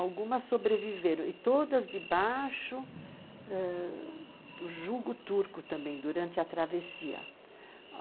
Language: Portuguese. Algumas sobreviveram, e todas debaixo ãh do jugo turco também, durante a travessia.